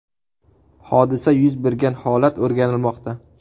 Hodisa yuz bergan holat o‘rganilmoqda.